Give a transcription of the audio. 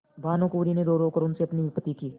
भानुकुँवरि ने रोरो कर उनसे अपनी विपत्ति की